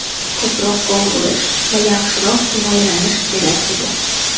Ko‘proq gol urish va yaxshiroq himoyalanish kerak edi.